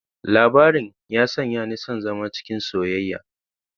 Labarin ya sanya ni son zama cikin soyayya.